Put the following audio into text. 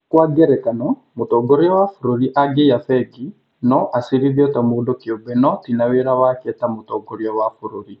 kwa ngerekano, mũtongoria wa bũrũri angĩaiya bengi, no acirithio ta mũndũ kĩũmbe no ti na wĩra wake ta mũtongoria wa bũrũri.